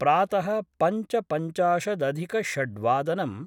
प्रात: पञ्चपञ्चाशदधिकषड्वादनम्